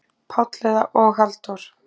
Páll og Halldór?